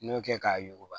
N y'o kɛ k'a yuguba